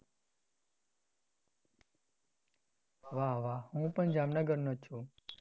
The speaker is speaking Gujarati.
વાહ વાહ હું પણ જામનગરનો જ છુ